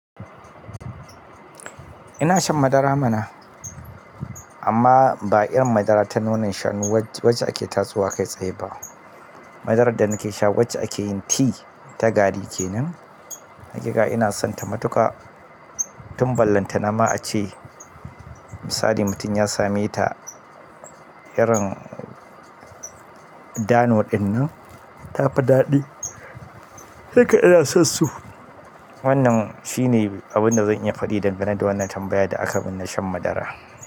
Ina shan madara mana, amma ba irin madara ta nonon shanu wacce ake tatsowa kai tsaye ba. Madarar da nake sha wacce ake yin tea ta gari kenan. Hakika ina sonta matuƙa. Tun ballanta na ma a ce misali mutum ya same ta irin dano ɗin nan ta fi daɗi ina son so wannna shine abunda zan iya faɗi dangane da wannan tamabaya da akaiman na shan madara.